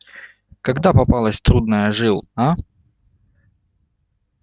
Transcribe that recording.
когда попалась трудная жил а